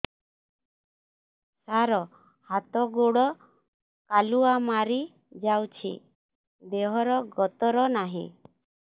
ସାର ହାତ ଗୋଡ଼ କାଲୁଆ ମାରି ଯାଉଛି ଦେହର ଗତର ନାହିଁ